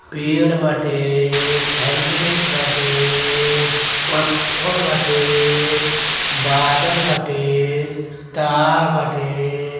पेड़ बाटे हेलमेट बाटे पत्थर बाटे बादल बाटे तार बाटे।